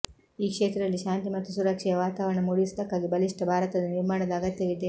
ಈ ಕ್ಷೇತ್ರದಲ್ಲಿ ಶಾಂತಿ ಮತ್ತು ಸುರಕ್ಷೆಯ ವಾತಾವರಣ ಮೂಡಿಸುವುದಕ್ಕಾಗಿ ಬಲಿಷ್ಠ ಭಾರತದ ನಿರ್ಮಾಣದ ಅಗತ್ಯವಿದೆ